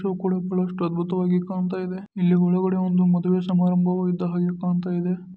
ಇದು ಕೂಡಕೊಳ್ಳುವಷ್ಟು ಅದ್ಭುತವಾಗಿ ಕಾಣತ್ತಾಯಿದೆ ಇಲ್ಲಿ ಒಳಗಡೆ ಒಂದು ಮದುವೆ ಸಮಾರಂಭವು ಇದ್ದಾಗೆ ಕಾಣುತ್ತಿದೆ.